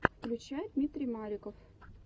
включай дмитрий маликов